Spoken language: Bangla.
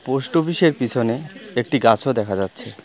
পোস্ট অফিসের পিছনে একটি গাছও দেখা যাচ্ছে।